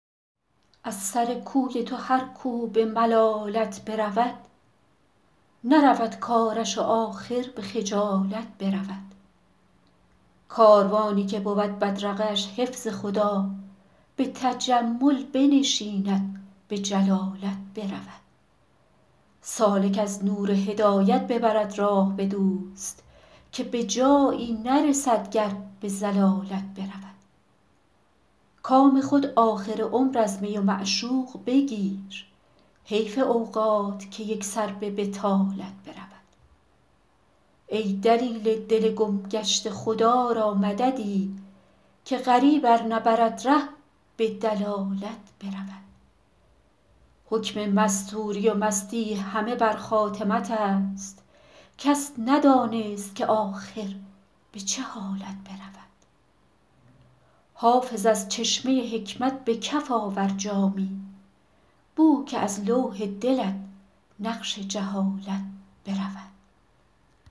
از سر کوی تو هر کو به ملالت برود نرود کارش و آخر به خجالت برود کاروانی که بود بدرقه اش حفظ خدا به تجمل بنشیند به جلالت برود سالک از نور هدایت ببرد راه به دوست که به جایی نرسد گر به ضلالت برود کام خود آخر عمر از می و معشوق بگیر حیف اوقات که یک سر به بطالت برود ای دلیل دل گم گشته خدا را مددی که غریب ار نبرد ره به دلالت برود حکم مستوری و مستی همه بر خاتمت است کس ندانست که آخر به چه حالت برود حافظ از چشمه حکمت به کف آور جامی بو که از لوح دلت نقش جهالت برود